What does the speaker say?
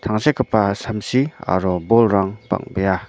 tangsekgipa samsi aro bolrang bang·bea.